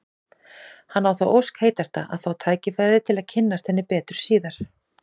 Hann á þá ósk heitasta að fá tækifæri til að kynnast henni betur síðar.